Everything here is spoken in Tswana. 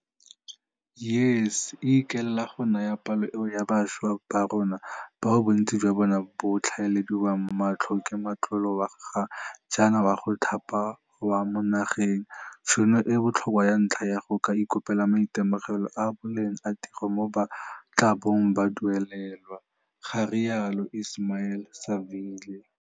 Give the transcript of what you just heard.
YES e ikaelela go naya palo eo ya bašwa ba rona, bao bontsi jwa bona bo tlhaelediwang matlho ke motlolo wa ga jaana wa go thapa wa mo nageng, tšhono e e botlhokwa ya ntlha ya go ka iponela maitemogelo a a boleng a tiro moo ba tla bong ba duelelwa, ga rialo Ismail-Saville.